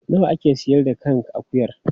Nawa a ke sayar da kan akuyar?